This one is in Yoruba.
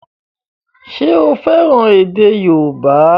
Ṣé o fẹ́ràn èdè yóòbá?